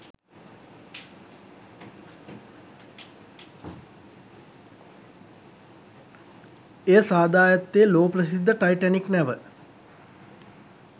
එය සාදා ඇත්තේ ලෝප්‍රසිද්ධ ටයිටැනික් නැව